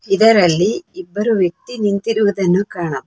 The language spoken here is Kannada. ಇದರಲ್ಲಿ ಇಬ್ಬರು ವ್ಯಕ್ತಿ ನಿಂತಿರುವುದನ್ನು ಕಾಣ.